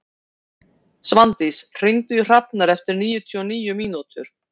Svandís, hringdu í Hrafnar eftir níutíu og níu mínútur.